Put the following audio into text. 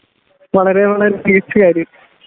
വളരെ വളരെ മികച്ച കാര്യം